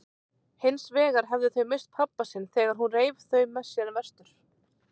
Hinsvegar hefðu þau misst pabba sinn þegar hún reif þau með sér vestur.